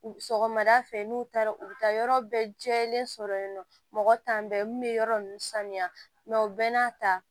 Sɔgɔmada fɛ n'u taara u bɛ taa yɔrɔ bɛɛ jɛlen sɔrɔ yen nɔ mɔgɔ t'an bɛɛ min bɛ yɔrɔ ninnu saniya mɛ u bɛɛ n'a ta